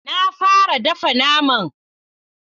Na fara dafa naman.